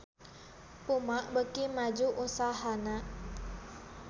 Puma beuki maju usahana